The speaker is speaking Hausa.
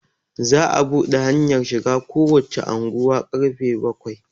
za a buɗe hanyar shiga kowace unguwa karfe bakwai